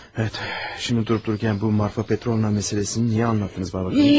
Bəli, indi durub-durarkən bu Marfa Petrovna məsələsini niyə danışdınız atacan?